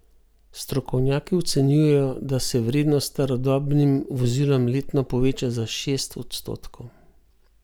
Strokovnjaki ocenjujejo, da se vrednost starodobnim vozilom letno poveča za šest odstotkov.